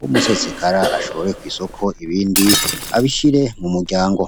w'umusesekara ashoboreko'isoko ibindi abishire mu muryango.